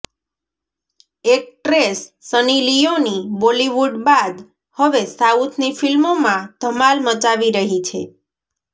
actress Sunny Leone Bollywood બાદ હવે સાઉથની ફિલ્મોમાં ધમાલ મચાવી રહી છે